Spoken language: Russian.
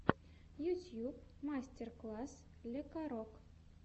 ютьюб мастер класс лекарок